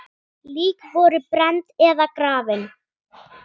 Lík voru brennd eða grafin.